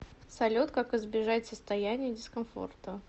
салют как избежать состояния дискомфорта